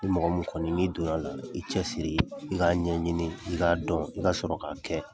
Ni mɔgɔ mun kɔni n'i don n'a la i cɛ siri i k'a ɲɛɲini i k'a dɔn i ka sɔrɔ k'a kɛ.